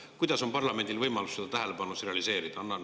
Kuidas on parlamendil võimalus seda tähelepanu realiseerida?